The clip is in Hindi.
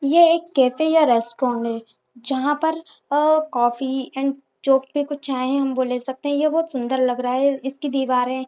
ये एक केफे या रेस्टोरेंड हैजंहा पर अ कॉफ़ी एंड जो भी चाहे वो हम ले सकते है ये बहुत सुन्दर लग रहा है इसकी दीवारे --